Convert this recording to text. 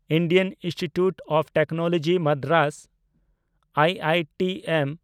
Indian institute of technology Madras (IITM)